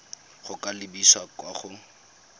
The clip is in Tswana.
go ka lebisa kwa go